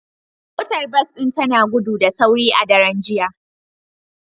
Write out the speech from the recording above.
Motar bas din tana gudu da sauri a daren jiya